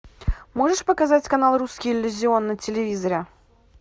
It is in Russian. можешь показать канал русский иллюзион на телевизоре